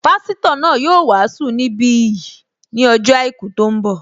Pásítọ̀ náà yóò wàásù ní bí yìí ní ọjọ́ àìkú tó ń bọ̀